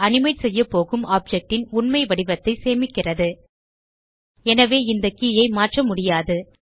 animate செய்யபோகும் object ன் உண்மை வடிவத்தை சேமிக்கிறது எனவே இந்த கே ஐ மாற்றமுடியாது